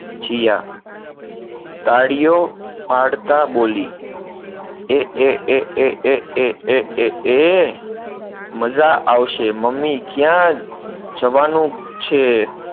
જીયા તાળીયો પાડતાં બોલી, એ એ એ એ એ એ એ એ એ એ એ, મજા આવશે મમ્મી, ક્યાં જવાનું છે.